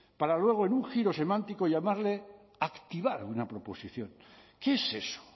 para luego en un giro semántico llamarle activar una proposición qué es eso